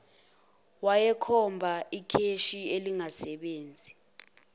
wayekhomba ikheshi elingasebenzi